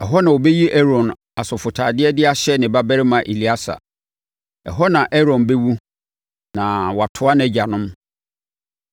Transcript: Ɛhɔ na wobɛyi Aaron asɔfotadeɛ no de ahyɛ ne babarima Eleasa. Ɛhɔ na Aaron bɛwu na watoa nʼagyanom.”